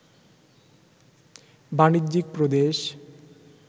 বাণিজ্যিক প্রদেশ